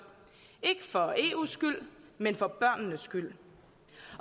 ikke for eus skyld men for børnenes skyld